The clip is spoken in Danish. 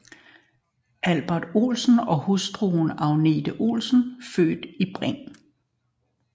Albert Olsen og hustru Agnete Olsen født Bing